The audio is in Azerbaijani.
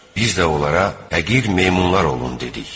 Biz də onlara həqir meymunlar olun dedik.